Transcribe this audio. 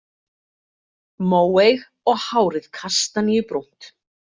Móeyg og hárið kastaníubrúnt.